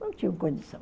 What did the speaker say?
Não tinham condição.